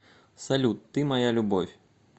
салют ты моя любовь